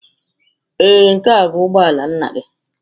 Ee, nke a bụ ụgbọ ala nna gị.